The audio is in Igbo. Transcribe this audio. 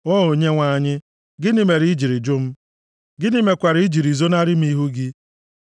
O Onyenwe anyị, gịnị mere i jiri jụ m? Gịnị mekwara i jiri zonarị m ihu gị?